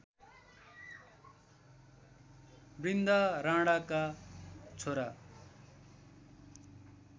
बृन्दा राणाका छोरा